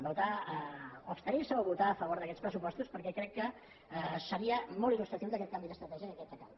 o abstenir se o votar a favor d’aquests pressupostos pe què crec que seria molt il·lustratiu d’aquest canvi d’estratègia que crec que cal